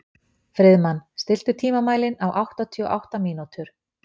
Friðmann, stilltu tímamælinn á áttatíu og átta mínútur.